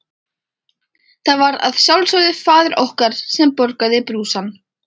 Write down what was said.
Það var að sjálfsögðu faðir okkar sem borgaði brúsann.